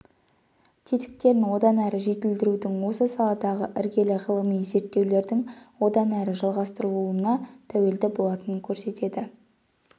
тетіктерін одан әрі жетілдірудің осы саладағы іргелі ғылыми зерттеулердің одан әрі жалғастырылуына тәуелді болатынын көрсетеді